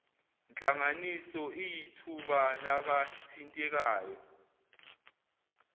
nhlanganiso iyithuba labathintekayo